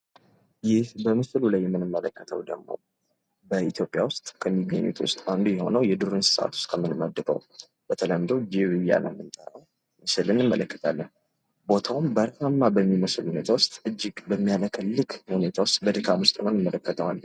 ይህ በምስሉ ላይ የምንመለከተው ደግሞ በኢትዮጵያ ውስጥ ከሚገኙት ውስጥ የዱር እንስሳት አንዱ የሆነውን በተለምዶ ጅብ እያልን የምንጠራውን ምስል እንመለከታለን። ፎቶውም ሃሪፋማ በሚባል ሁኔታ ውስጥ እጅግ በሚያለከልክ መልኩ እንመለከተዋለን።